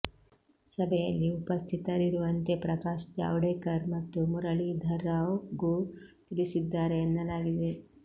ಸಭೆಯಲ್ಲಿ ಉಪಸ್ಥಿತರಿರುವಂತೆ ಪ್ರಕಾಶ್ ಜಾವ್ಡೇಕರ್ ಮತ್ತು ಮುರಳೀಧರಾವ್ ಗೂ ತಿಳಿಸಿದ್ದಾರೆ ಎನ್ನಲಾಗಿದೆ